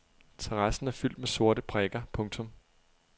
Terrassen er fyldt med sorte prikker. punktum